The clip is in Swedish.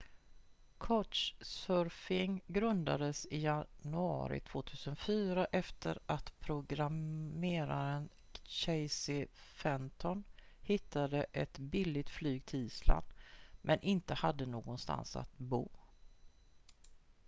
couchsurfing grundades i januari 2004 efter att programmeraren casey fenton hittade ett billigt flyg till island men inte hade någonstans att bo